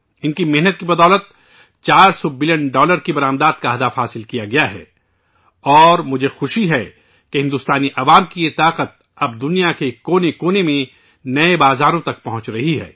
ان کی محنت کی بدولت 400 بلین ڈالر کی برآمدات کا ہدف حاصل کیا گیا ہے اور مجھے خوشی ہے کہ بھارتی عوام کی یہ طاقت اب دنیا کے کونے کونے میں نئی منڈیوں تک پہنچ رہی ہے